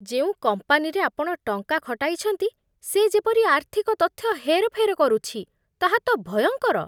ଯେଉଁ କମ୍ପାନୀରେ ଆପଣ ଟଙ୍କା ଖଟାଇଛନ୍ତି, ସେ ଯେପରି ଆର୍ଥିକ ତଥ୍ୟ ହେରଫେର କରୁଛି, ତାହା ତ ଭୟଙ୍କର।